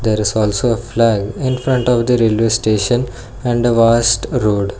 there is also a flag infront of the railway station and the worst road.